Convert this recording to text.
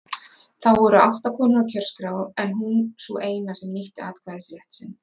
Þá voru átta konur á kjörskrá en hún sú eina sem nýtti atkvæðisrétt sinn.